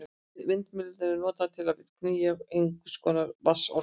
Vindmyllan var notuð til að knýja einhvers konar vatnsorgel.